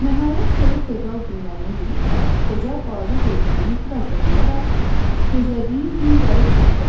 Nəhayət, soyuq fevral günlərinin birində qoca balaca gözlərini biraz da qıyaraq, gözlədiyin gün gəlib çatdı.